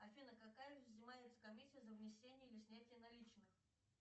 афина какая взимается комиссия за внесение или снятие наличных